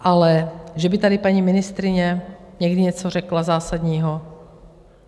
Ale že by tady paní ministryně někdy něco řekla zásadního?